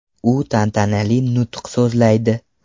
U tantanali nutq so‘zlaydi.